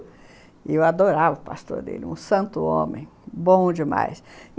E eu adorava o pastor dele, um santo homem, bom demais.